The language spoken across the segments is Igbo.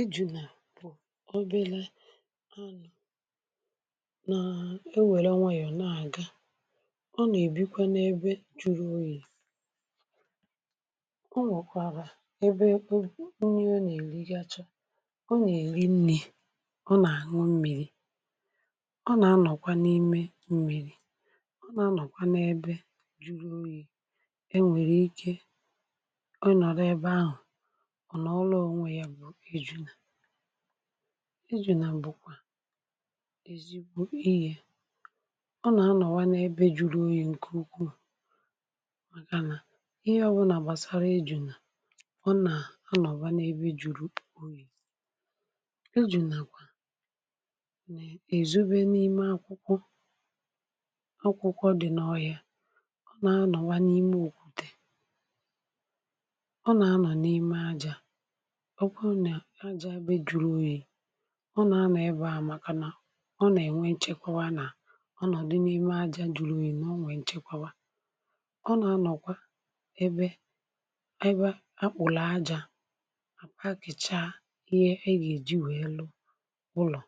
ejùnà bụ̀ o belazịa, anà na-ewère nwayọ̀ na-aga. ọ nà-èbikwa n’ebe ju̇ru̇ oyì, ihe ọ nwụ̀kwàrà ebe onye na-èli gị achọ̇, ọ nà-èli nnė, ọ nà-àṅụ mmìrì, ọ nà-anọ̀kwa n’ime mmìrì, um ọ nà-anọ̀kwa n’ebe ju̇ru̇ oyì. e nwèrè ike ijùnà bụ̀kwà èzigbo ihė, ọ nà-anọ̀wa n’ebe juru unyì, ǹkè ukwuù màgà nà ihe ọbụ̇ nà-àgbàsara ijùnà. ọ nà-anọ̀wa n’ebe juru unyì, ijùnà èzigbo n’ime akwụkwọ dị̀ n’ọhị̀a, nà-anọ̀wa n’ime òkwùdè, ọ nà-anọ̀wa n’ime ajȧ, ọ nà-ana ebe à màkànà ọ nà-ènwe nchekwa. anà ọ nọ̀dị n’ime ajȧ jula oyi, nà o nwèe nchekwawa. ọ nà-anọ̀kwa ebe ebe akpụ̀lọ̀ ajȧ àkpà gìchaa, ihe e gà-èji wèe lo ụlọ̀.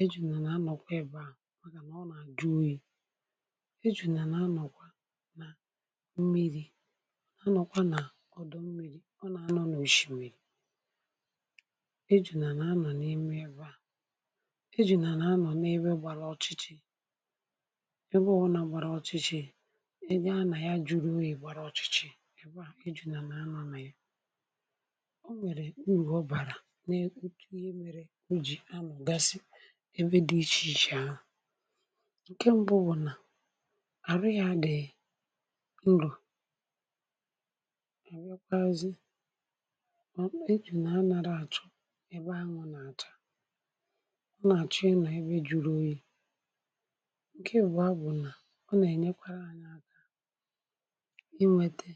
e jùnà nà-anọ̀kwa ebe à, màgà nà ọ nà-àjụ oyi. e jùnà nà-anọ̀kwa nà mmịrị̇, anọ̀kwa nà ọdụ mmịrị̇, ọ nà-anọ̀ nò shì shì eji̇ nà nà-anọ̀ n’ime ebu à, eji̇ nà nà-anọ̀ n’ebe gbàra ọchịchị, ebe ọ̀ bụ nà gbàra ọchịchị, ebe anà ya jùrù oghe gbara ọchịchị, ebe à eji̇ nà nà-anọ̀ anà ya. ọ nwèrè u̇wọ bàrà n’oche, ihe mere u̇jì anọ̀ gasị ebe dị ichè ichè ahụ̀. ǹkè mbụ bụ̀ nà àrụ ya gèi ngụ̀, ǹkè àchọ̇ èba ahụ̀ nà-àchọ àchọ, e nà-ebe juu oghi̇. ǹkè ìbụ̀a bụ̀ nà ọ nà-ènyekwara ha n’aka inwete,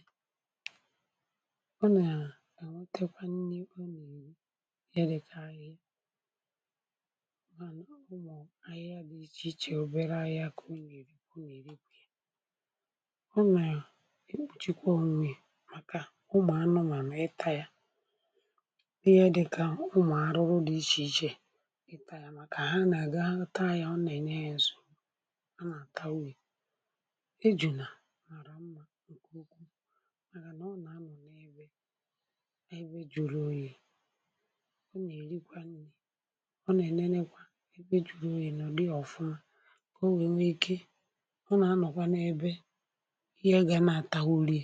ọ nà-èwotekwa nni, ọ nà-èri ya dịkà ahi̇ baa, ụmụ̀ ahịhịa dị ichè ichè, um obere ahịa kà o nwèrè i kwa ụmụ̀ ya. màkà ụmụ̀ anụmà nà-eta ya, umùarụrụ dị ichèichè i taa yà, màkà ha nà-àga taa yà, ọ nà-ènye ya ọzọ̀, ha nà-àta uri. e jùnà àrà mmȧ, ǹkè okwù màgà nà ọ nà-anọ̀ n’ebe n’ebe jùrù oyì. ọ nà-èrikwa nni̇, ọ nà-ènene, kwà e jùrù oyì nọ̀ di ọ̀fụma, kà o nwène ike, ọ nà-anọ̀kwa n’ebe ihe gà nà-àta uri.